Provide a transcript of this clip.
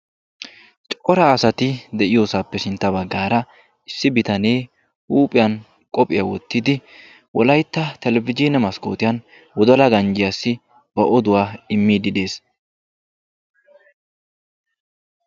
cora asati de'iyoosappe sintta baggaara issi bitanee huuphiyan qophpihya wottidi wolaytta televizhzhine maskkotiyan wodalaa ganjjiyassi ba oduwaa immiide de'ees.